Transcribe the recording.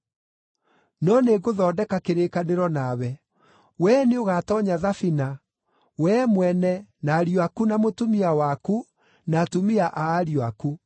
No nĩngũthondeka kĩrĩkanĩro nawe. Wee nĩũgatoonya thabina, wee mwene na ariũ aku na mũtumia waku, na atumia a ariũ aku.